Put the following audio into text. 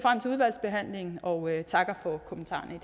udvalgsbehandlingen og takker for kommentarerne